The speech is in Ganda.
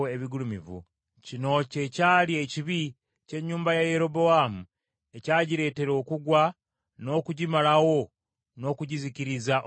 Kino kye kyali ekibi ky’ennyumba ya Yerobowaamu ekyagireetera okugwa, okugimalawo n’okugizikiriza okuva ku nsi.